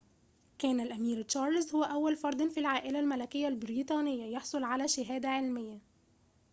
كان الأمير تشارلز هو أول فردٍ في العائلة الملكية البريطانية يحصل على شهادة علمية